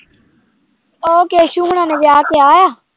ਉਹ ਕੇਸੂ ਹੋਣਾਂ ਨੇ ਵਿਆਹ ਕਿਹਾ?